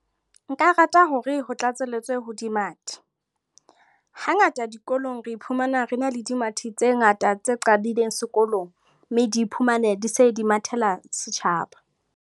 Nka rata hore ho tlatselletswe ho dimathi. Hangata dikolong re iphumana re na le dimathi tse ngata tse qadileng sekolong, mme di iphumane di se di mathela setjhaba.